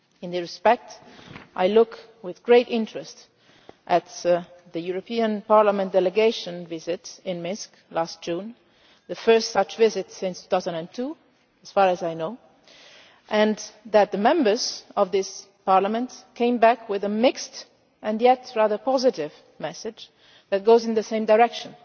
In this respect I looked with great interest at the European Parliament delegation visit to Minsk last June the first such visit since 2002, as far as I know and noted that the Members of this Parliament came back with a mixed and yet rather positive message tending in the same direction